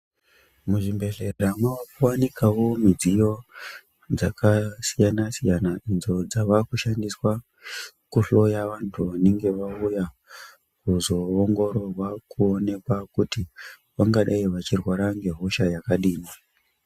Muzvibhehlera mavakuwanikawo midziyo dzakasiyana-siyana idzo dzavakushandiswa kuhloya vantu vanenge vauya kuzoongororwa kuonekwa kuti vangadai vachirwara nehosha dzakadini.